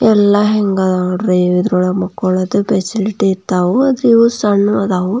ಎಲ್ಲ ಹೆಂಗೆ ಇದಾವ ನೋಡ್ರಿ ಇದ್ರೊಳಗೆ ಮಕ್ಕೊಳದು ಫೆಸಿಲಿಟಿ ಇದಾವು ಆದ್ರೆ ಇದು ಸಣ್ಣ ಇದ್ದವು.